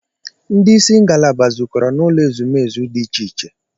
Ndị isi ngalaba zukọrọ n'ụlọ ezumezu dị iche iche.